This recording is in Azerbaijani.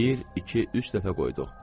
Bir, iki, üç dəfə qoyduq.